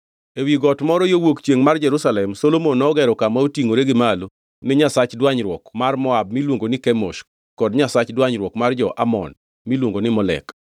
Ewi got moro yo wuok chiengʼ mar Jerusalem, Solomon nogero kama otingʼore gi malo ni nyasach dwanyruok mar Moab miluongo ni Kemosh kod nyasach dwanyruok mar jo-Amon miluongo ni Molek.